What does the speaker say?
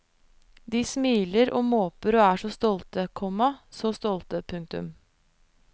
De smiler og måper og er så stolte, komma så stolte. punktum